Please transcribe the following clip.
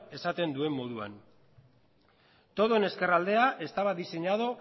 esaten duen moduan todo en ezkerraldea estaba diseñado